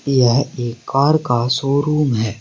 यह एक कार का शोरूम है।